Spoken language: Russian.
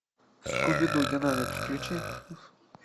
скуби ду динамик включи